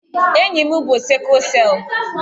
Enyi m bú sikụl selụ